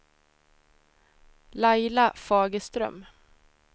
Laila Fagerström